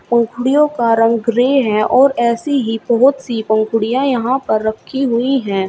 पंखड़ियों का रंग ग्रे है और ऐसी ही बहोत सी पंखड़ियों यहां पर रखी हुई हैं।